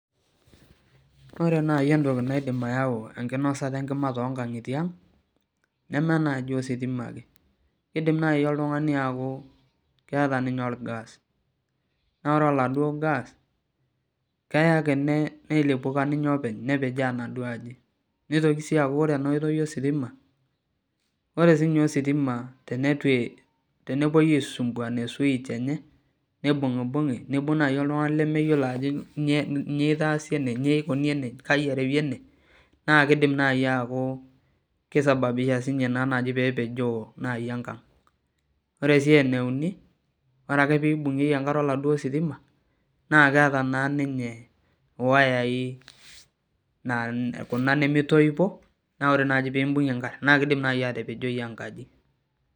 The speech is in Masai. Ore naaji naidim ayau enkinosata enkima toonkang'itie ang nemenaaji entoki nayau neme ositima ake keidim naaji oltung'ani aaku keeta ninye orgas naa ore oladuo gas keeya ake neilipuka openy neponaa enaduo aji neitoki sii aku ore enoitoi ositima ore siininye ositima tenepuoi asumbua e switch enye neibung'ibung'i neibung naaji oltung'ani lemeyiolo ajo nyoo eitaasi ene kai erewi ene naakeidim naaji aaku keisababisha ina naaji peepejoo naaji enkang ore sii eneuni ore ake peibung'ieki enkare oladuo sitima naa keeta naa ninye iwayai kuna nemeitoipo naa ore naaji peimbung'ie naa keidim naaji atapejoi enkaji